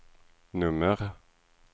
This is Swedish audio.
nummer